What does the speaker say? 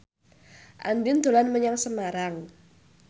Andien dolan menyang Semarang